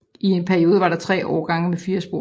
I en periode var der 3 årgange med 4 spor